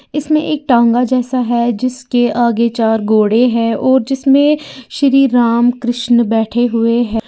इसमें एक तांगा जैसा है जिसके आगे चार घोड़े हैं और जिसमें श्री राम कृष्ण बैठे हुए हैं।